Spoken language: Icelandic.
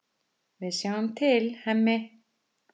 Við sjáum til, Hemmi.